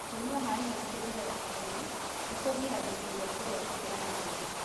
Kũnyua maĩ maingĩ mbere ya kũrĩa nĩkũgiragĩrĩria kũrĩa gũkĩra gĩthimi.